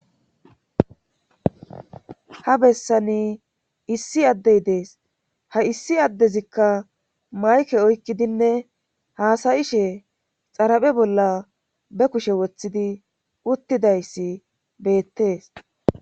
ha bessani issi addey dees ha issi addezikka mayke oykkidinne haasayishe xaraphe bolla be kushe woththidi uttidayssi beettees